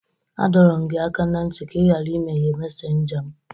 A dọrọ m gị aka na nti ka ị ghara imeghe mesénja m!